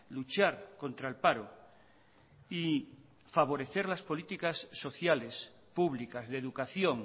luchar contra el paro y favorecer las políticas sociales públicas de educación